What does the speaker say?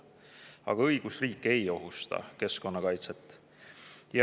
Aga õigusriik ei ohusta keskkonnakaitset.